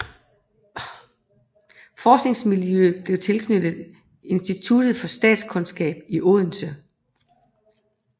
Forskningsmiljøet blev tilknyttet Institut for Statskundskab i Odense